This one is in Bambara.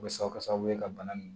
O bɛ se ka kɛ sababu ye ka bana nin